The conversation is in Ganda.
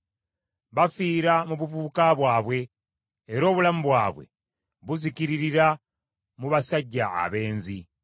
Bafiira mu buvubuka bwabwe era obulamu bwabwe buzikiririra mu basajja abenzi.